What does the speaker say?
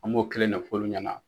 An m'o kelen ne f'olu ɲɛna.